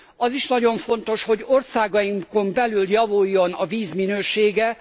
Az is nagyon fontos, hogy országainkon belül javuljon a víz minősége.